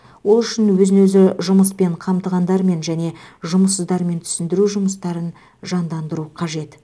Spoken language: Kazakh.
ол үшін өзін өзі жұмыспен қамтығандармен және жұмыссыздармен түсіндіру жұмыстарын жандандыру қажет